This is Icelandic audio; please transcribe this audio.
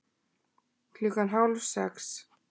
Klukkan hálf sex